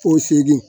Ko segin